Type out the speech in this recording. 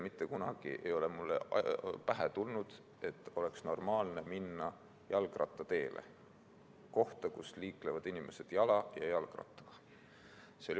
Mitte kunagi ei ole mulle pähe tulnud, et oleks normaalne minna jalgrattateele, kohta, kus liiklevad inimesed jala ja jalgrattaga.